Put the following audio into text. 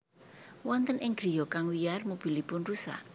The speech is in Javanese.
Wonten ing griya kang wiyar mobilipun rusak